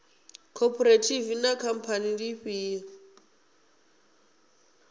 khophorethivi na khamphani ndi ifhio